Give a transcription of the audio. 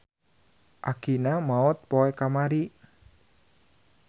Akina maot poe kamari.